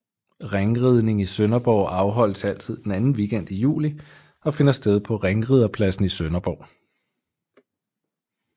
Ringridning i Sønderborg afholdes altid den anden weekend i juli og finder sted på Ringriderpladsen i Sønderborg